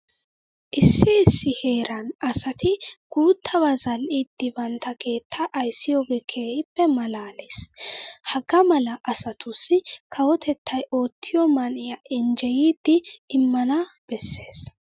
Issi issi heeran asati guuttabaa zal"idi bantta keettaa ayssiyogee keehippe maalaalees. Hagaa mala asatussi kawotettay oottiyo man"iya injjeyidi immana bessees.